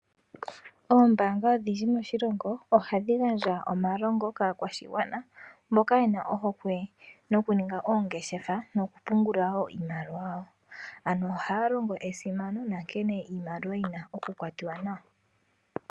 Oombanga odhindji moshilongo ohadhi gandja omalongo kaakwashigwana mboka yena ohokwe noku ninga oongeshefa noku pungula woo iimaliwa yawo. Ano ohaya longo esimano nankene iimaliwa yina oku kwatiwa nawa.